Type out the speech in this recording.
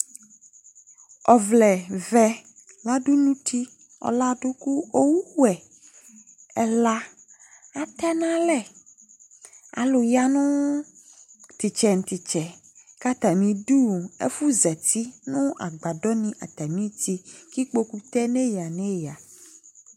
Ɔwlɛ vɛ laɖu nu ũtí Ɔlaɖu, ku owu wɛ ɛla àtɛ nu alɛ Ãlu ya nu tu istɛ nu tu itsɛ, ku atamiɖu, ɛfuzati nu agbaɖɔni atami uti Ku ikpóku te nu eya nu eya